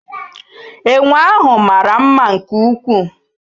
Enwe ahụ mara mma nke ukwuu